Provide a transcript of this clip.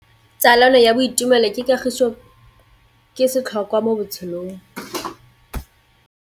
Tsalano ya boitumelo le kagiso ke setlhôkwa mo botshelong.